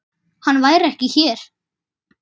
Hann væri ekki hér.